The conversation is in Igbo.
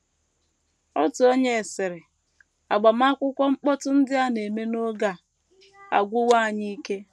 Otu onye sịrị: “ Agbamakwụkwọ mkpọtụ ndị a na - eme n’oge a agwụwo anyị ike.